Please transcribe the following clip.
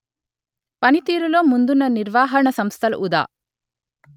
పనితీరులో ముందున్న నిర్వాహణ సంస్థలు ఉదా